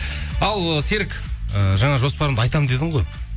ал ы серік ыыы жаңа жоспарымды айтамын дедің ғой